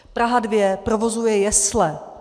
Praha 2 provozuje jesle.